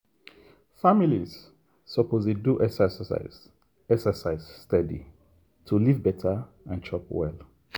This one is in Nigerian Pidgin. families suppose dey do exercise exercise steady to live better and chop well.